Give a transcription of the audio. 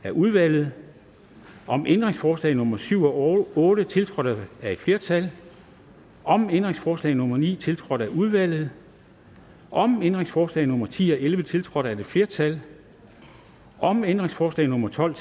af udvalget om ændringsforslag nummer syv og otte tiltrådt af et flertal om ændringsforslag nummer ni tiltrådt af udvalget om ændringsforslag nummer ti og elleve tiltrådt af et flertal om ændringsforslag nummer tolv